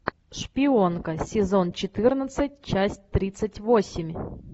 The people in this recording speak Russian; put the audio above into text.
шпионка сезон четырнадцать часть тридцать восемь